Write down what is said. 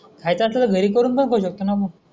हाय तस त घरी करून बघू शकतो आपण.